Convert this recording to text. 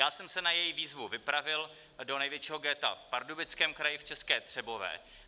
Já jsem se na její výzvu vypravil do největšího ghetta v Pardubickém kraji v České Třebové.